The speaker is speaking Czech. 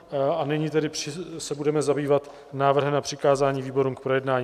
A nyní tedy se budeme zabývat návrhem na přikázání výborům k projednání.